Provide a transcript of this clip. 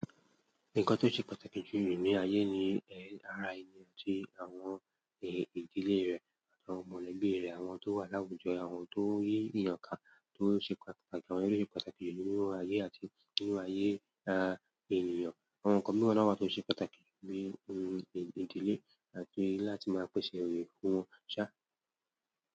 Nǹkan tó ṣe pàtàkì jù ní ayé ni LRI ní àti àwọn èèyàn ìdílé rẹ̀ àti àwọn mọ̀lẹ́bí rẹ̀, àwọn tó wà láwùjọ, àwọn tó yí ìyàn ká tó ṣe pàtàkì, àwọn ló ṣe pàtàkì nínú ayé àti nínú ayé à ènìyàn. Àwọn ǹkan miran náà wa tó ṣe pàtàkì bí ohun ìdílé àti láti máa pèsè eré fún wọn ṣá.